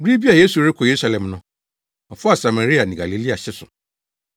Bere bi a Yesu rekɔ Yerusalem no, ɔfaa Samaria ne Galilea hye so.